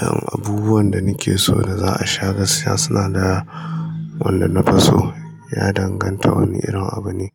Yan abubuwan da nake so da za a sha gaskiya suna da wanda na fi so ya danganta wane irin abu ne.